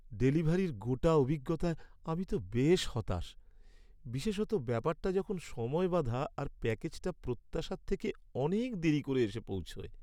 ডেলিভারির গোটা অভিজ্ঞতায় আমি তো বেশ হতাশ, বিশেষত ব্যাপারটা যখন সময় বাঁধা আর প্যাকেজটা প্রত্যাশার থেকে অনেক দেরি করে এসে পৌঁছয়।